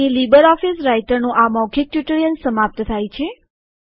અહીં લીબરઓફીસ રાઈટરનું આ મૌખિક ટ્યુટોરીયલ સમાપ્ત થાય છે